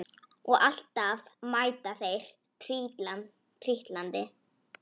Og alltaf mæta þeir trítlandi